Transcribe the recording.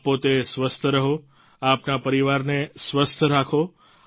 આપ પોતે સ્વસ્થ રહો આપના પરિવારને સ્વસ્થ રાખો